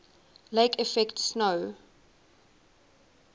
lake effect snow